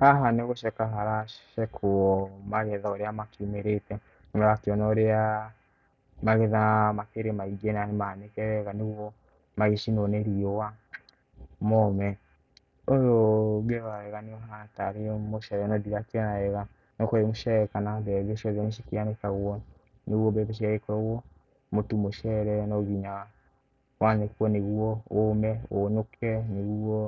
Haha ni gũcekwo haracekwo magetha ũrĩa makiumĩrĩte nĩ ũrakiona ũrĩa magetha makĩrĩ maingĩ na nĩmanĩke wega nĩguo magĩcinwo nĩ riũa mome. Ũyũ ũngĩrora wega nĩ ũhana tarĩ mũcere no ndirakiona wega no ũkorwo wĩ mũcere kana mbembe ciothe nĩ cikĩanĩkagwo. Nĩguo mbembe cianikagwo mutu mũcere no nginya wanĩkwo nĩguo ũũme ũnũke nĩguo